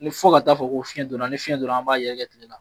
Ni fɔ ka taa fɔ ko fiɲɛ donna, ni fiɲɛ donna an b'a yɛrɛgɛ tile la.